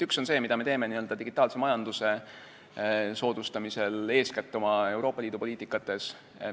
Üks on see, mida me teeme digitaalse majanduse soodustamisel eeskätt oma Euroopa Liidu poliitikas.